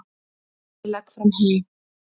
Ég legg fram hey.